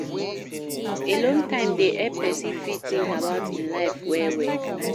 Alone time dey help person fit think about im life well well